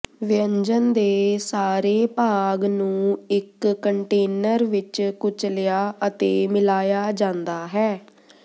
ਵਿਅੰਜਨ ਦੇ ਸਾਰੇ ਭਾਗ ਨੂੰ ਇੱਕ ਕੰਟੇਨਰ ਵਿੱਚ ਕੁਚਲਿਆ ਅਤੇ ਮਿਲਾਇਆ ਜਾਂਦਾ ਹੈ